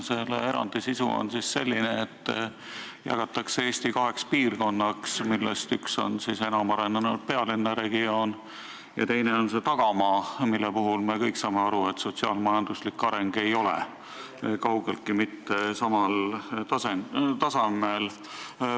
Selle erandi sisu on selline, et Eesti jagatakse kaheks piirkonnaks, millest üks on enam arenenud pealinnaregioon ja teine on tagamaa, mille puhul me kõik saame aru, et sealne sotsiaal-majanduslik areng ei ole kaugeltki mitte samal tasemel.